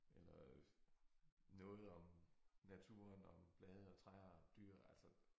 Eller øh noget om naturen og om blade og træer og dyr altså